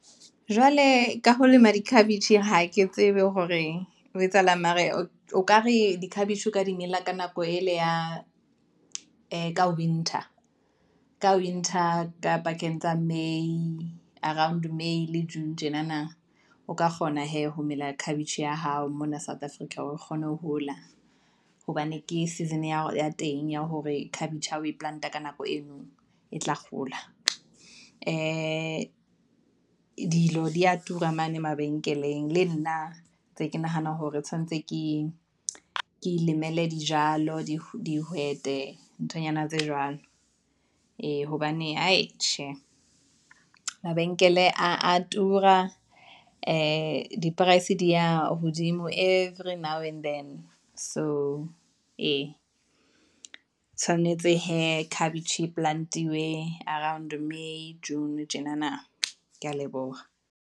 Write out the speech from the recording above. Jwale ka ho lema dikhabetjhe, ha ke tsebe hore ho etsahalang, mara o ka re dikhabetjhe ka di mela ka nako e le ya ee ka winter, ka winter ka pakeng tsa May, around May le June tjenana, o ka kgona hee ho mela khabetjhe ya hao mona South Africa hore e kgone ho hola, hobane ke season ya teng ya hore khabetjhe ha o e plant-a ka nako eno e tla hola, ee dilo dia tura mane mabenkeleng, le nna ntse ke nahana hore e tshwanetse ke ilemele dijalo, di dihwete, nthonyana tse jwalo. Ee, hobane aai tjhe, mabenkele a tura, ee di price di ya hodimo every now and then. So ee, tshwanetse hee khabetjhe e plant-iwe around May, June tjenana ke ya leboha.